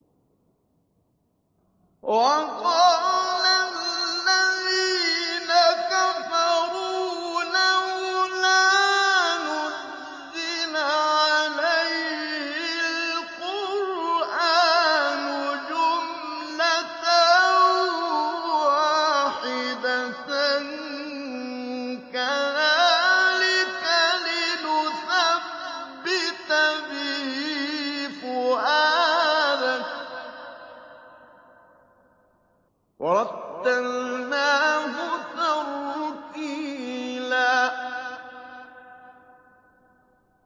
وَقَالَ الَّذِينَ كَفَرُوا لَوْلَا نُزِّلَ عَلَيْهِ الْقُرْآنُ جُمْلَةً وَاحِدَةً ۚ كَذَٰلِكَ لِنُثَبِّتَ بِهِ فُؤَادَكَ ۖ وَرَتَّلْنَاهُ تَرْتِيلًا